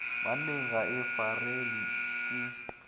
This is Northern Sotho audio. banneng ga e farelwe ke